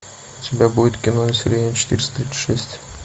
у тебя будет кино население четыреста тридцать шесть